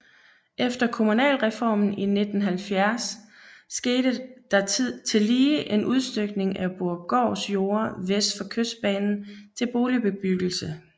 Efter kommunalreformen i 1970 skete der tillige en udstykning af Borupgårds jorder vest for Kystbanen til boligbebyggelse